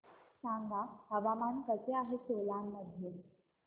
सांगा हवामान कसे आहे सोलान मध्ये